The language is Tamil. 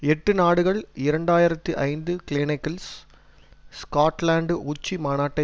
எட்டு நாடுகள் இரண்டு ஆயிரத்தி ஐந்து கிளேனேகில்ஸ் ஸ்காட்லன்டு உச்சி மாநாட்டை